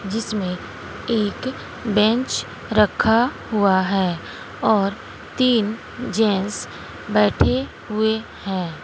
जिसमें एक बेंच रखा हुआ है और तीन जेंट्स बैठे हुए हैं।